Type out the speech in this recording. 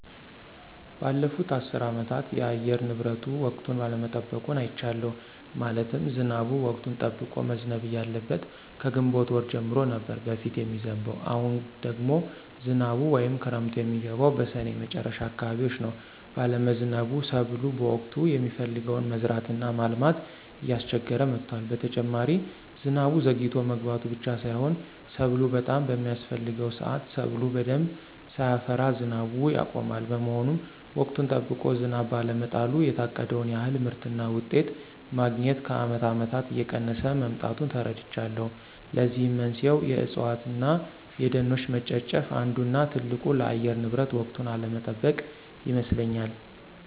ባለፉት አስር አመታት የአየር ንብረቱ ወቅቱን አለመጠበቁን አይቻለሁ። ማለትም ዝናቡ ወቅቱን ጠብቆ መዝነብ እያለበት ከግንቦት ወር ጀምሮ ነበር በፊት የሚዝንብ አሁን ደግሞ ዝናቡ ወይም ክረምቱ የሚገባው በስኔ መጨረሻ አካባቢዎች ነው ባለመዝነቡ ሰብሎ በወቅቱ የሚፈለገውን መዝራት እና ማልማት እያስቸገረ መጥቷል። በተጨማሪ ዝናቡ ዘግይቶ መግባቱ ብቻ ሳይሆን ሰብሉ በጣም በሚያስፍሕገው ስአት ሰብሉ በደንብ ሳያፈራ ዝናቡ ያቆማል። በመሆኑም ወቅቱን ጠብቆ ዝናብ ባለመጣሉ የታቀደውን ያክል ምርትና ውጤት ማግኞት ከአመት አመታት እየቀነሰ መምጣቱን ተረድቻለሁ። ለዚህም መንስኤው የእፅዋት እነ የደኖች መጨፍጨፍ አንዱ እነ ትልቁ ለአየር ንብረት ወቅቱን አለመጠበቅ ይመስለኞል።